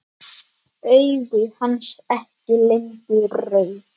Augu hans ekki lengur rauð.